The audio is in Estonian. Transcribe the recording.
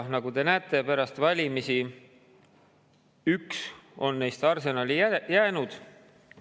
Nagu te näete, pärast valimisi on üks neist arsenali jäänud.